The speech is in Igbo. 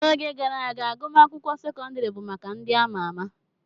N'oge gara aga, agụmakwụkwọ sekọndrị bụ maka ndị ama ama.